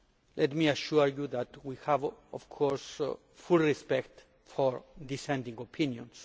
Let me assure you that we have, of course, full respect for dissenting opinions.